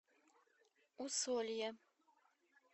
усолье